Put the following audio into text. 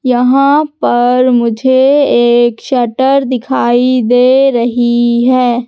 यहां पर मुझे एक शटर दिखाई दे रही है।